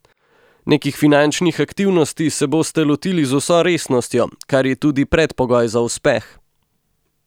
Nekih finančnih aktivnosti se boste lotili z vso resnostjo, kar je tudi predpogoj za uspeh.